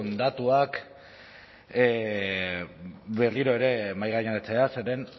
datuak berriro ere mahaigaineratzea zeren